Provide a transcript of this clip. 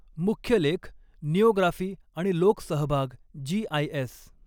मुख्य लेखः निओग्राफी आणि लोकसहभाग जीआयएस